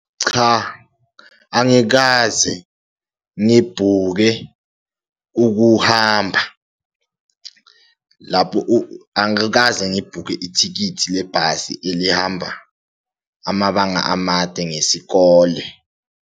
Cha, angikaze ngibhuke ukuhamba lapho, angikaze ngibhukhe ithikithi lebhasi elihamba amabanga amade ngesikole.